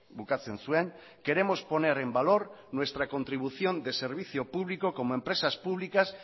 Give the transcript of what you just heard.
bukatzen zuen queremos poner en valor nuestra contribución de servicio público como empresas públicas